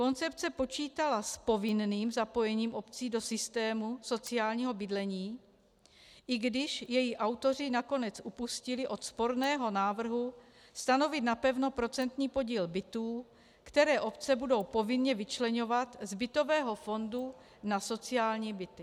Koncepce počítala s povinným zapojením obcí do systému sociálního bydlení, i když její autoři nakonec upustili od sporného návrhu stanovit napevno procentní podíl bytů, které obce budou povinně vyčleňovat z bytového fondu na sociální byty.